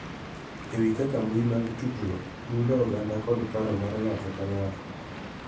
E wi kaka mbui mag tudruok mulo oganda kod paro mar ng�ato ka ng�ato.